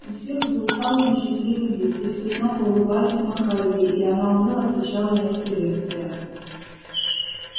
у всех был усталый но счастливый вид и все снова улыбались и махали ей и она уныло отвечала на их приветствия